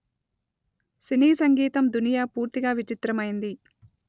సినీ సంగీతం దునియా పూర్తిగా విచిత్రమైంది